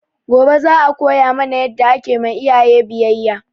Gobe za a koya mana yadda ake ma iyaye biyayya